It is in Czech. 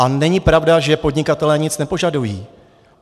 A není pravda, že podnikatelé nic nepožadují.